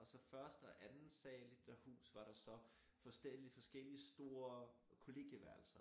Og så første og anden sal i det der hus var der så forskellige stor kollegieværelser